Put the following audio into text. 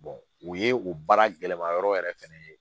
o ye o baara gɛlɛma yɔrɔ yɛrɛ fɛnɛ ye